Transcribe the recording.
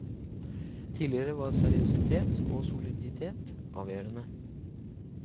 Tidligere var seriøsitet og soliditet avgjørende.